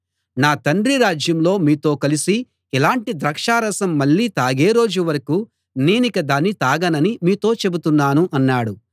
నా తండ్రి రాజ్యంలో మీతో కలిసి ఇలాటి ద్రాక్షరసం మళ్ళీ తాగే రోజు వరకూ నేనిక దాన్ని తాగనని మీతో చెబుతున్నాను అన్నాడు